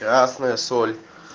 красная соль